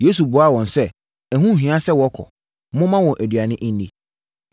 Yesu buaa wɔn sɛ, “Ɛho nhia sɛ wɔkɔ; momma wɔn aduane nni!”